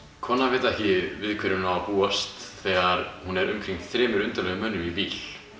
konan veit ekki við hverju hún á að búast þegar hún er umkringd þremur undarlegum mönnum í bíl